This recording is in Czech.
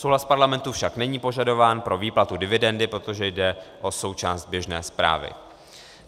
Souhlas parlamentu však není požadován pro výplatu dividendy, protože jde o součást běžné správy.